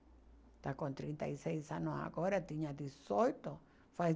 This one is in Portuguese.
Está com trinta e seis anos agora, tinha dezoito, faz